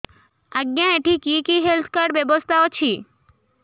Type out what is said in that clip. ଆଜ୍ଞା ଏଠି କି କି ହେଲ୍ଥ କାର୍ଡ ବ୍ୟବସ୍ଥା ଅଛି